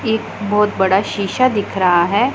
एक बहोत बड़ा शीशा दिख रहा है।